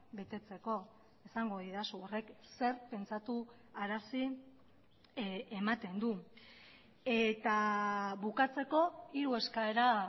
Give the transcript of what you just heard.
betetzeko esango didazu horrek zer pentsatu arazi ematen du eta bukatzeko hiru eskaera